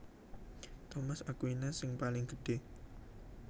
Thomas Aquinas sing paling gedhé